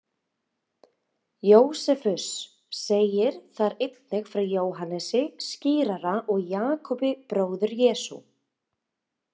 Jósefus segir þar einnig frá Jóhannesi skírara og Jakobi, bróður Jesú.